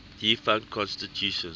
defunct constitutions